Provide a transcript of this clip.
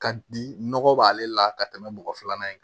Ka di nɔgɔ b'ale la ka tɛmɛ bɔgɔ filanan in kan